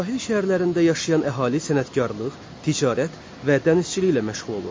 Sahil şəhərlərində yaşayan əhali sənətkarlıq, ticarət və dənizçiliklə məşğul olurdu.